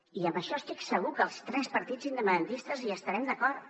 i en això estic segur que els tres partits independentistes hi estarem d’acord